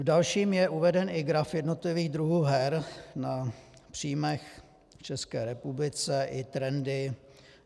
V dalším je uveden i graf jednotlivých druhů her na příjmech v České republice i trendy.